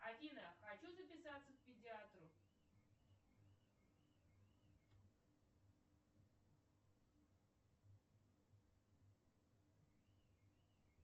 афина хочу записаться к педиатру